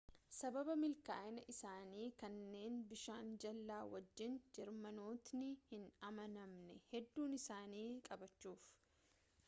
sababaa milkaa'ina isaanii kanneen bishaan jala wajjin jeermanootni hin amanamne hedduu isaanii qabachuf